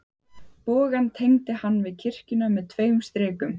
Bogann tengdi hann við kirkjuna með tveim strikum.